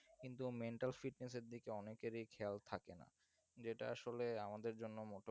কিন্তু mental fitness এর দিকে অনেকেরই খেয়াল থাকে না, যেটা আসলে আমাদের জন্য মোটে